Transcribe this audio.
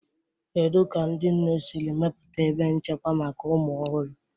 Kedu ka ndị nne siri mepụta ebe nchekwa maka ụmụ ọhụrụ?.